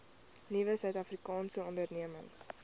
nuwe suidafrikaanse ondernemings